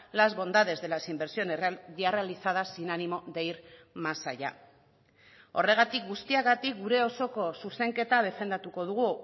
las bondades de las inversiones ya realizadas sin ánimo de ir más allá horregatik guztiagatik gure osoko zuzenketa defendatuko dugu